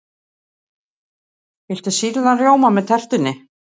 Viltu sýrðan rjóma með tertunni?